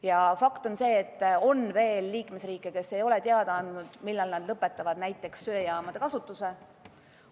Ja fakt on see, et on veel liikmesriike, kes ei ole teada andnud, millal nad lõpetavad näiteks söejaamade kasutamise.